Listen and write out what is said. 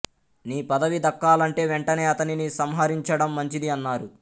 నీ పదవి దక్కాలంటే వెంటనే అతనిని సంహరించడం మంచిది అన్నారు